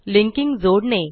linking जोडणे